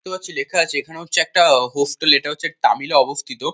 দেখতেই পাচ্ছো লেখা আছে এখানে হচ্ছে একটা হোস্টেল এটা হচ্ছে তামিলে অবস্থিত।